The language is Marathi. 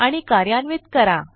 आणि कार्यान्वित करा